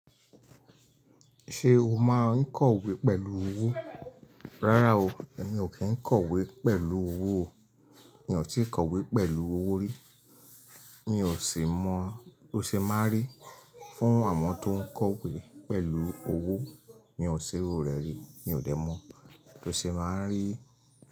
Ṣé o máa ń kọ̀wé pẹ̀lú owó? Rárá o, èmi ò kí ń kọ̀wé pẹ̀lú owó o. Mi ò tíì kọ̀wé pẹ̀lú owó rí. Mi ò sì mọ tó ṣe máa rí. Fún àwọn tó ń kọ̀wé pẹ̀lú owó, mi ò ṣe iru re ri Mi ò dẹ̀ mọ tó ṣe máa ń rí.